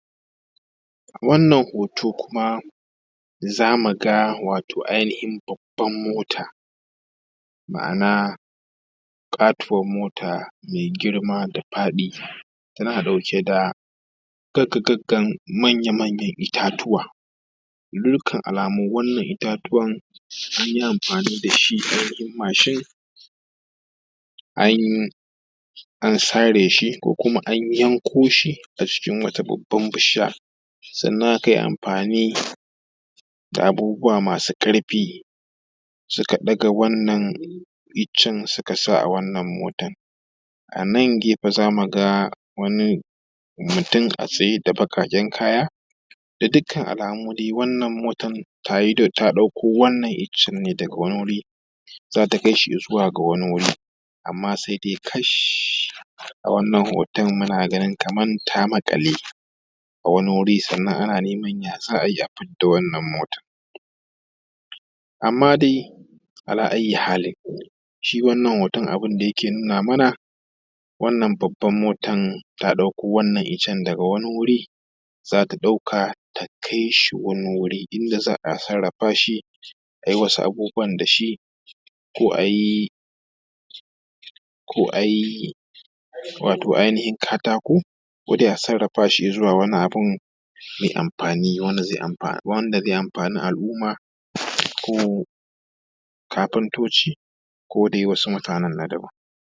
Wannan hoto kuma za mu ga wato ainihin babbar mota, ma’ana ƙatuwar mota mai girma da faɗi. Tana ɗauke da gagga-gaggan manya-manyan itatuwa, ga dukkan alamu wannan itatuwan sun yi amfani da shi ainihin mashin, an sare shi ko kuma an yanko shi a jikin wata babbar bishiya, sannan an yi amfani da abubuwa masu ƙarfi suka ɗaga wannan iccen suka sa a wannan motar. A nan gefen za mu ga wani mutum a tsaye da baƙaƙen kaya, ga dukkan alamu dai wannan motar ta ɗauko wannan icen ne daga wani wuri, za ta kai shi i zuwa ga wani wuri, amma sai dai kash a wannan hoton muna ganin kamar ta maƙale a wani wuri, sannan ana neman ya za a yi a fidda wannan motar. Amma dai ala ayyi halin shi wannan hoton abin da yake nuna mana wannan babbar motar ta ɗauko wannan icen daga wani wuri za ta ɗauka ta kai shi wani wurin, inda za a sarrafa shi a yi wasu abubuwan da shi ko a yi ainihin katako, ko dai a sarrafa shi zuwa wani abin mai amfani, wanda zai amfani al’umma ko kafintoci ko dai wasu mutanen na daban.